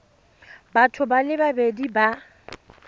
batho ba le babedi ba